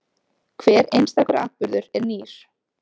Hver einstakur atburður er nýr.